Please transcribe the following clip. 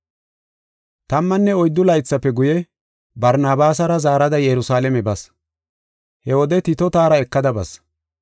Tammanne oyddu laythafe guye, Barnabaasara zaarada Yerusalaame bas. He wode Tito taara ekada bas.